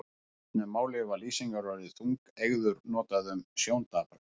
Í fornu máli var lýsingarorðið þungeygur notað um sjóndapra.